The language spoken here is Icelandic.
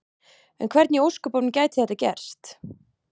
En hvernig í ósköpunum gæti þetta gerst?